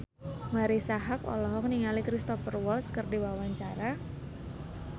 Marisa Haque olohok ningali Cristhoper Waltz keur diwawancara